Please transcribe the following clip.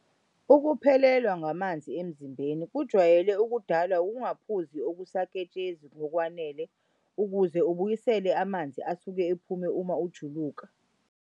Ukuphelelwa ngamanzi emzimbeni kujwayele ukudalwa ukungaphuzi okusaketshezi ngokwanele ukuze ubuyisele amanzi asuke ephume uma ujuluka.